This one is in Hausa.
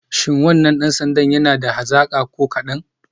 Shi wannan dan sandan yana da hazaka ko kadan?